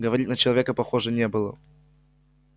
говорит на человека похоже не было